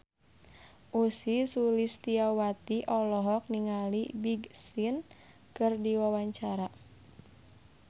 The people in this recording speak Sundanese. Ussy Sulistyawati olohok ningali Big Sean keur diwawancara